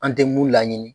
An tɛ mun laɲini